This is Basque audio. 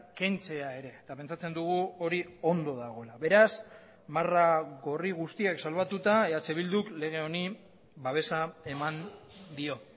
kentzea ere eta pentsatzen dugu hori ondo dagoela beraz marra gorri guztiak salbatuta eh bilduk lege honi babesa eman dio